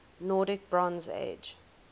nordic bronze age